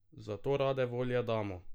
Zato rade volje damo.